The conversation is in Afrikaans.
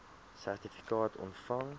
sertifikaat ontvang